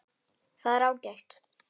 Það er ágætt.